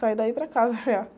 Saio daí para casa, já